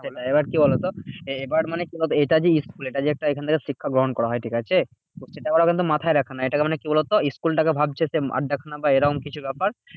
এবার কি বলতো? এবার মানে কি হবে? এটা যে school এটা যে একটা এখান থেকে শিক্ষা গ্রহণ করা হয় ঠিকাছে? তো সেটা ওরা কিন্তু মাথায় রাখে না। এটাকে মানে কি বলতো? school টাকে ভাবছে সে আড্ডাখানা বা এরকম কিছু ব্যাপার।